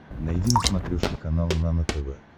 найди на смотрешке канал нано тв